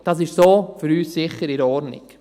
Das ist sicher so in Ordnung für uns.